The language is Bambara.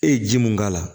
E ye ji mun k'a la